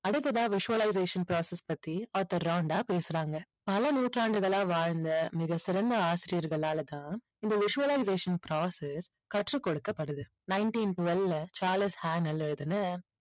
அடுத்ததா visualization process பத்தி author Rhonda பேசுறாங்க. பல நூற்றாண்டுகளா வாழ்ந்த மிகச்சிறந்த ஆசிரியர்களால் தான் இந்த visualization process கற்றுக் கொடுக்கப்படுது. nineteen twelve ல சார்லஸ் ஹானல் எழுதின